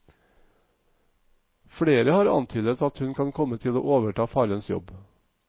Flere har antydet at hun kan komme til å overta farens jobb.